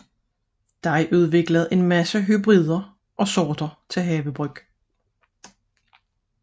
Der er udviklet talrige hybrider og sorter til havebrug